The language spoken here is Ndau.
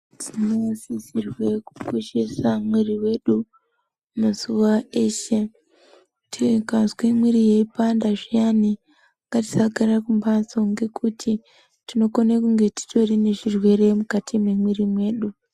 Tinosisorwe kukoshesa miviri wedu mazuwa eshe tikazwe muviri weipanda zviyani ngatisagara mumbatso ngekuti tinokone kunge titori nezvirwere mukati memumwiri mwedu.